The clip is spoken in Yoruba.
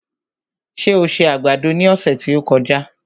Ṣé o se àgbàdo ní ọ̀sẹ̀ tí ó kọjá?